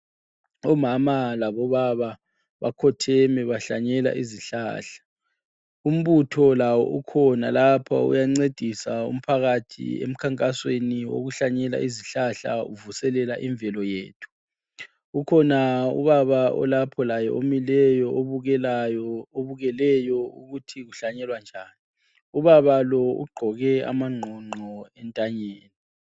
Omama labo baba bakhotheme bahlanyela izihlala, umbutho lawo ukhona lapha uyancedisa umphakathi emkhankasweni wokuhlanyela izihlahla uvuselela imvelo yethu. Ukhona Ubaba olapho laye obukeleyo ukuthikuhlanyelwa njani. Ubaba lo! Ugqoke amangqongqo entanyeni.